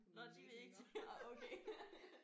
Nåh de vil ikke ej okay